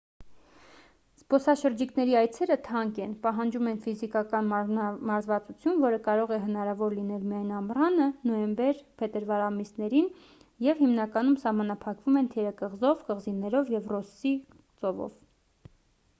զբոսաշրջիկների այցերը թանկ են պահանջում են ֆիզիկական մարզվածություն որը կարող է հնարավոր լինել միայն ամռանը նոյեմբեր-փետրվար ամիսներին և հիմնականում սահմանափակվում են թերակղզով կղզիներով և ռոսսի ծովով